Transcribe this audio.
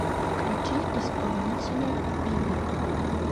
включи исполнителя бибио